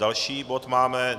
Další bod máme